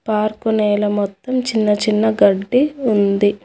Park నేల మొత్తం చిన్నచిన్న గడ్డి ఉంది.